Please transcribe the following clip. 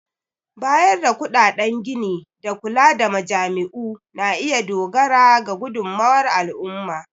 Bayar da kuɗaɗen gini da kula da majami'u na iya dogara ga gudummawar al'umma.